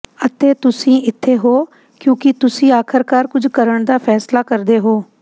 ਅਤੇ ਤੁਸੀਂ ਇੱਥੇ ਹੋ ਕਿਉਂਕਿ ਤੁਸੀਂ ਆਖਰਕਾਰ ਕੁਝ ਕਰਨ ਦਾ ਫੈਸਲਾ ਕਰਦੇ ਹੋ